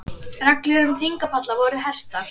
Reglur um þingpalla voru hertar